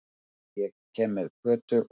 Því ég er með Kötu og